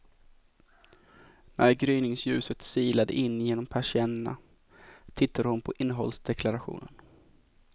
När gryningsljuset silade in genom persiennerna tittade hon på innehållsdeklarationen.